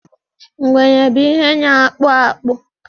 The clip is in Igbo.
ngwere bu ihe na akpọ akpu